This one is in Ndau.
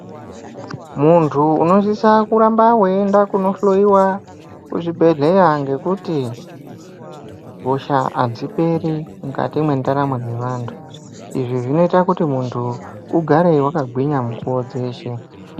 Muntu unosisa kuramba weienda kundohloiwa kuchibhehleya ngekuti hosha hadziperi mukati mendaramo dzevantu izvi zvinoita kuti muntu ugare wakagwinya mukuwo dzeshe.